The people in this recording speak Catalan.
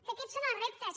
que aquests són els reptes